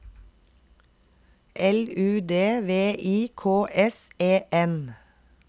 L U D V I K S E N